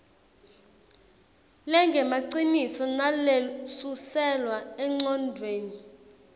lengemaciniso nalesuselwa engcondvweni